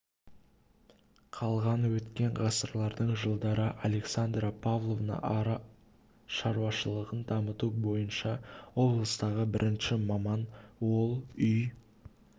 қалған өткен ғасырдың жылдары александра павловна ара шаруашылығын дамыту бойынша облыстағы бірінші маман ол үй